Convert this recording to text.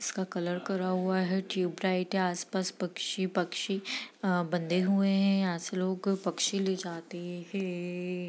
इसका कलर करा हुआ है ट्यूबलाइट है आस-पास पक्षी-पक्षी अ बंदे हुए हैं यहाँ से लोग पक्षी ले जाते है ।